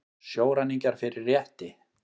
Sjóræningjar fyrir rétti